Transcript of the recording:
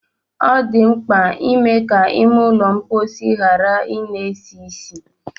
Ọ dị mkpa ime ka ime ụlọ mkpọsi ghara ị na-esi ísì.